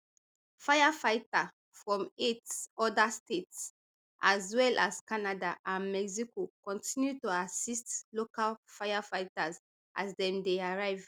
firefighter from eight oda states as well as canada and mexico continue to assist local firefighters as dem dey arrive